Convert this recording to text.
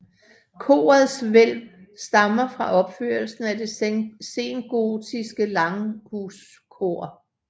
Korets hvælv stammer fra opførelsen af det sengotiske langhuskor